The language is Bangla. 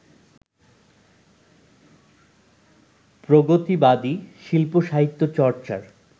প্রগতিবাদী শিল্প-সাহিত্য চর্চার